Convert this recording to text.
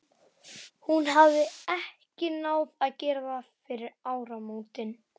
Hún hafði ekki náð að gera það fyrir áramótin.